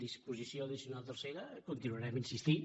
disposició addicional tercera hi continuarem insistint